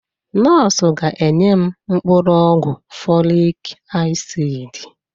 Nọọsụ ga-enye m mkpụrụ ọgwụ folik asid.